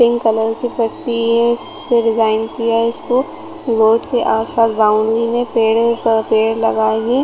Pink colour की पट्टी है से डिज़ाइन किया है इसको बोर्ड के आस-पास बॉउंड्री में पेड़ है पेड़ लगाएगे ।